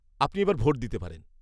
আপনি এবার ভোট দিতে পারেন।